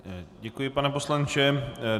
Děkuji, pane poslanče.